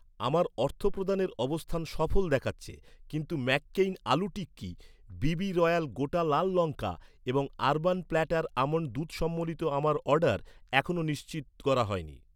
আমার অর্থপ্রদানের অবস্থান সফল দেখাচ্ছে, কিন্তু McCain aloo tikki, BB Royal গোটা লাল লঙ্কা এবং আরবান প্ল্যাটার আমন্ড দুধ সম্বলিত আমার অর্ডার, এখনও নিশ্চিত করা হয়নি